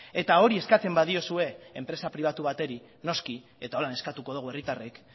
eta hori eskatzen badiozue enpresa pribatu bateri noski eta holan eskatuko dogu herritarrek